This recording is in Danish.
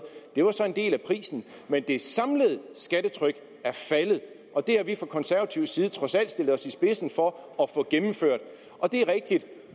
det var så en del af prisen men det samlede skattetryk er faldet og det har vi fra konservativ side trods alt stillet os i spidsen for at få gennemført